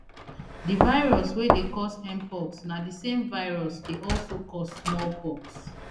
di virus wey dey cause mpox na di same virus dey also cause small pox